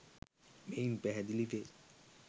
මෙයින් පැහැදිලි වේ.